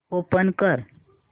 open कर